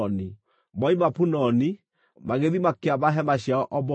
Moima Punoni, magĩthiĩ makĩamba hema ciao Obothu.